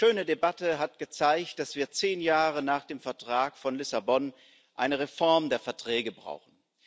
Diese schöne Debatte hat gezeigt, dass wir zehn Jahre nach dem Vertrag von Lissabon eine Reform der Verträge brauchen.